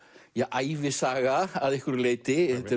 ævisaga að einhverju leyti þetta